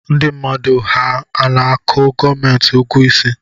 Ndi mmadụ ha ana-akụ gomenti ụgụ isi